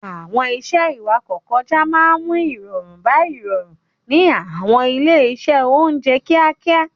Àwọn iṣẹ́ ìwakọ̀-kọjá máa ń mú ìrọ̀rùn bá ìrọ̀rùn ní àwọn ilé-iṣẹ́ oúnjẹ kíákíá.